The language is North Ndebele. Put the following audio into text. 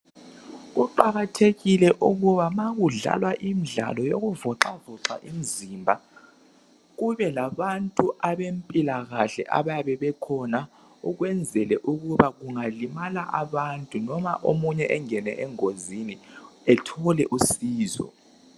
Kuqakathekile ukuba ma kudlalwa imidlalo yokuzivoxavoxa imizimba ,kube labantu abempilakahle abayabe bekhona ikwezela ukuba kungalimala abantu noma omunye engene engozini ethole usizo.